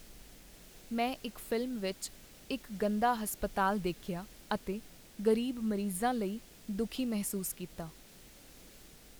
ਮੈਂ ਇੱਕ ਫ਼ਿਲਮ ਵਿੱਚ ਇੱਕ ਗੰਦਾ ਹਸਪਤਾਲ ਦੇਖਿਆ ਅਤੇ ਗ਼ਰੀਬ ਮਰੀਜ਼ਾਂ ਲਈ ਦੁਖੀ ਮਹਿਸੂਸ ਕੀਤਾ।